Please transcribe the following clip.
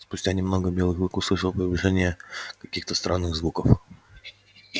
спустя немного белый клык услышал приближение каких-то странных звуков